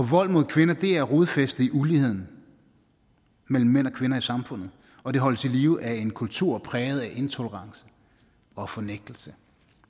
vold mod kvinder er rodfæstet i uligheden mellem mænd og kvinder i samfundet og den holdes i live af en kultur præget af intolerance og fornægtelse